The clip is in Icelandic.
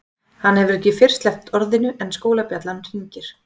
Hann hefur ekki fyrr sleppt orðinu en skólabjallan hringir.